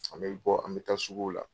An bɛɛ bɛ bɔ an bɛ taa suguw la.